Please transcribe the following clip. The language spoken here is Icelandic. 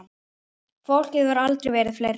Fólkið hefur aldrei verið fleira.